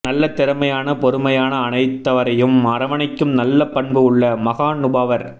நல்ல திறமையான பொறுமையான அனைத்தவரையும் அரவணைக்கும் நல்ல பண்பு உள்ள மஹாநுபாவர்